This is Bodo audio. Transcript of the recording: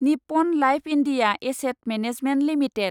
Nippon life India asset management limited